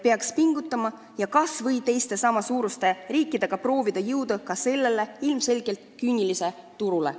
" Peaks pingutama ja kas või teiste sama suurte riikidega proovima jõuda ka sellele ilmselgelt küünilisele turule.